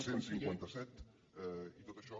cent i cinquanta set i tot això